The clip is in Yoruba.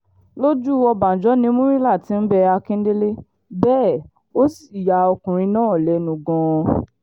lójú ọbànjọ́ ni murila ti ń bẹ akíndélé bẹ́ẹ̀ ó sì ya ọkùnrin náà lẹ́nu gan-an